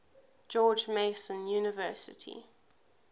george mason university